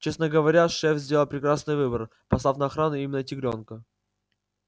честно говоря шеф сделал прекрасный выбор послав на охрану именно тигрёнка